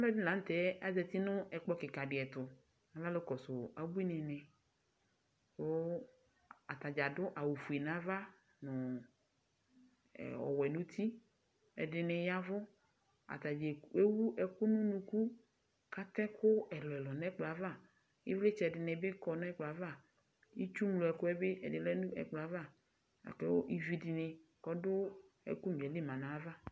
Aluɛdini lanu tɛ azati nu ɛkplɔ kika di tu atadza adu awu fue nu ava nu ɔwɛ nu uti ɛdini yavu atadza ewu unuku atɛ ɛku ɛlu ɛlu nu ɛkplɔ ava ivlitsɛ di kɔ nu ɛkplɔ ava itsu ŋlɔ ɛkuɛbi ɛdi lɛ nu ɛkplɔ ava ivi du ɛku nya yɛli ma nu ayav